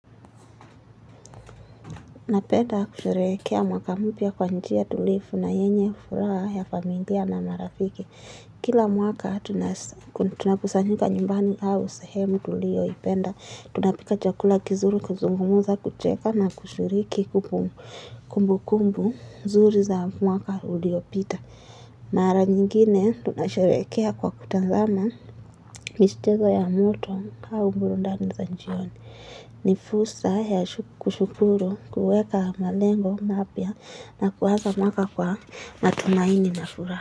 Napenda kusherehekea mwaka mpya kwa njia tulivu na yenye furaha ya familia na marafiki. Kila mwaka, tunakusanyuka nyumbani au sehemu tulioipenda. Tunapika chakula kizuri, kuzungumza, kucheka na kushiriki kumbu kumbu nzuri za mwaka uliopita. Mara nyingine tunasherehekea kwa kutazama michezo ya moto au burudani za jioni. Ni fursa ya kushukuru, kuweka malengo mapya na kuanza mwaka kwa matumaini na furaha.